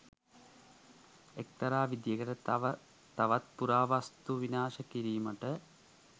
එක්තරා විදිහකට තව තවත් පුරාවස්තු විනාශ කිරීමට